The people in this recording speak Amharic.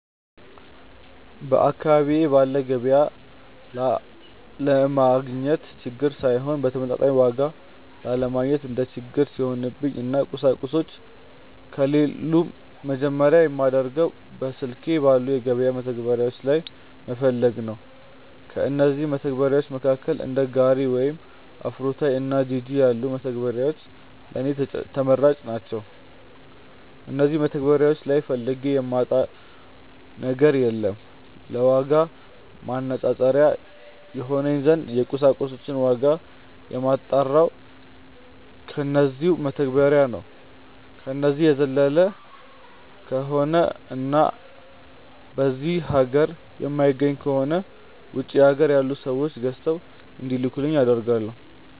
በአካባቢዬ ባለ ገቢያ ያለማግኘት ችግር ሳይሆን በተመጣጣኝ ዋጋ ያለማግኘት እንደ ችግር ሲሆንብኝ እና ቁሳቁሶቹ ከሌሉም መጀመርያ የማደርገው በስልኬ ባሉ የገበያ መተግበሪያዎች ላይ መፈለግ ነው። ከእነዚህም መተግበርያዎች መካከል እንደ ጋሪ ወይም አፍሮታይ እና ጂጂ ያሉት መተግበሪያዎች ለኔ ተመራጭ ናቸዉ። እነዚህ መተግበሪያዎች ላይ ፈልጌ የማጣው ነገር የለም። ለዋጋ ማነፃፀሪያ ይሆነኝ ዘንድ የቁሳቁሶችን ዋጋ የማጣራው በነዚው መተግበሪያዎች ነው። ከነዚህ በዘለለ ከሆነ እና በዚህ ሀገር የማይገኙ ከሆነ ውጪ ሀገር ያሉ ሰዎች ገዝተው እንዲልኩልኝ አደርጋለው።